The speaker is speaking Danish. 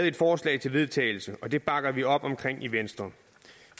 et forslag til vedtagelse og det bakker vi op om i venstre